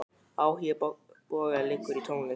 Áhugi Boga liggur í tónlist.